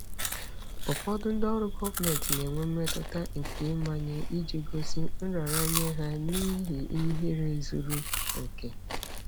Ụfọdụ ndị ọrụ gọọmentị na-enwe mmetụta nke ịmanye iji gosi nraranye ha n'ihi ihere zuru oke.